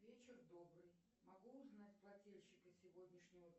вечер добрый могу узнать плательщика сегодняшнего